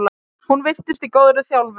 Hún virtist í góðri þjálfun.